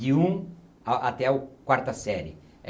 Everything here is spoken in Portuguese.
De um a-até o quarta série.